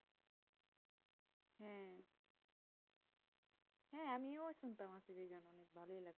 হ্যাঁ হ্যাঁ আমিও শুনতাম অনেক ভালো লাগতো